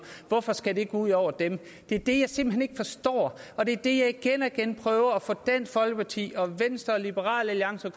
hvorfor skal det gå ud over dem det er det jeg simpelt hen ikke forstår og det er det jeg igen og igen prøver at få dansk folkeparti og venstre og liberal alliance og